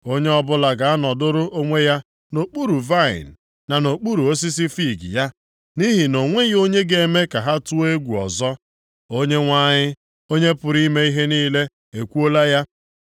Onye ọbụla ga-anọdụrụ onwe ya nʼokpuru vaịnị na nʼokpuru osisi fiig ya, nʼihi na o nweghị onye ga-eme ka ha tụọ egwu ọzọ. Onyenwe anyị, Onye pụrụ ime ihe niile ekwuola ya.